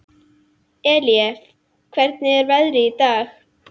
Eilíf, hvernig er veðrið í dag?